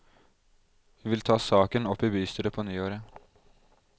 Hun vil ta saken opp i bystyret på nyåret.